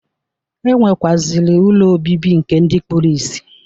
E nwekwaziri ụlọ obibi nke ndi kpuru ìsì.